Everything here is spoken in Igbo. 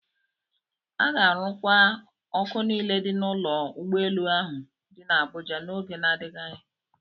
A ga-arụkwa ọkụ niile dị n'ụlọ ụgbọelu ahụ dị n'Abụja n'oge na-adịghị anya.